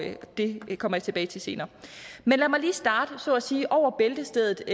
det kommer jeg tilbage til senere men lad mig lige starte så at sige over bæltestedet